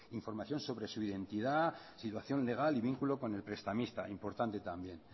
información sobre su identidad situación legal y vínculo con el prestamista importante también